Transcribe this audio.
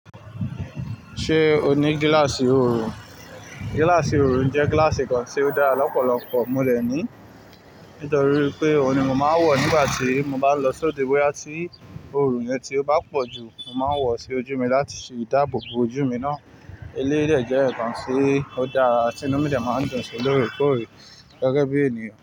Ṣé o ní gílàsì orun? Gílàsì orun jẹ́ gílàsì kan tí ó dára lọ́pọ̀lọpọ̀. Mo de ni nítorí pé òun ni mo máa ń wọ̀ nígbà tí mo bá lọ sóde. Boya tí orun yẹn tí ó bá pọ̀ jù, mo máa ń wọ̀ sí ojú mi láti ṣe ìdáàbò bo ojú mi náà. Eléyìí de je nkan tí ó dára tí inú mi jẹ máa ń dùn sí lórí kò rí gẹ́gẹ́ bí ènìyàn.